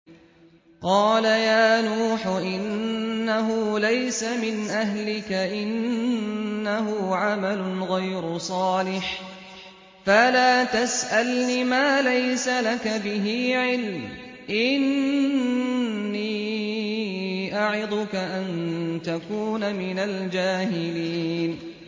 قَالَ يَا نُوحُ إِنَّهُ لَيْسَ مِنْ أَهْلِكَ ۖ إِنَّهُ عَمَلٌ غَيْرُ صَالِحٍ ۖ فَلَا تَسْأَلْنِ مَا لَيْسَ لَكَ بِهِ عِلْمٌ ۖ إِنِّي أَعِظُكَ أَن تَكُونَ مِنَ الْجَاهِلِينَ